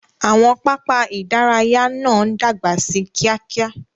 Àwọn pápá idaraya no dagba sí kíákíá.